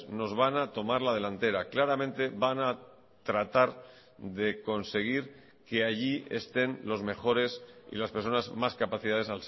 nos van a tomar la delantera claramente van a tratar de conseguir que allí estén los mejores y las personas más capacidades